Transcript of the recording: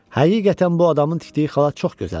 Həqiqətən bu adamın tikdiyi xalat çox gözəldir.